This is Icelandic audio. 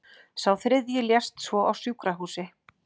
Sá þriðji lést svo á sjúkrahúsi